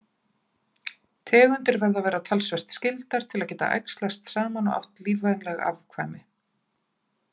Tegundir verða að vera talsvert skyldar til að geta æxlast saman og átt lífvænleg afkvæmi.